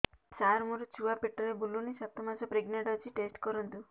ସାର ମୋର ଛୁଆ ପେଟରେ ବୁଲୁନି ସାତ ମାସ ପ୍ରେଗନାଂଟ ଅଛି ଟେଷ୍ଟ କରନ୍ତୁ